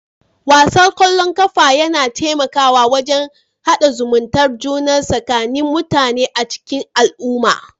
Wasan ƙwallon ƙafa yana taimakawa wajen hada zumuntae juna tsakanin mutane a cikin al'umma